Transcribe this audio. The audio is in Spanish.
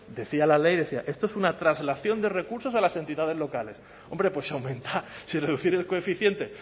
decía la ley decía esto es una traslación de recursos a las entidades locales hombre pues aumenta si reducir el coeficiente